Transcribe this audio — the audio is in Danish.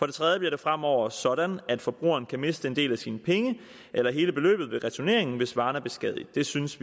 det tredje bliver det fremover sådan at forbrugeren kan miste en del af sine penge eller hele beløbet ved returneringen hvis varen er beskadiget vi synes